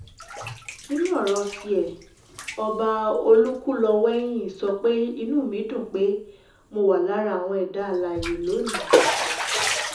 nínú ọ̀rọ̀ ti ẹ̀ ọba olúkúlówẹ̀hìn sọ pé inú mi dùn pé mo wà lára àwọn ẹ̀dá alààyè lónìí